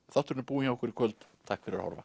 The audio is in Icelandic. þátturinn er búinn hjá okkur í kvöld takk fyrir að horfa